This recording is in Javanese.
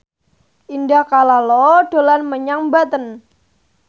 Indah Kalalo dolan menyang Banten